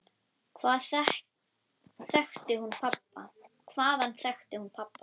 Hvaðan þekkti hún pabba?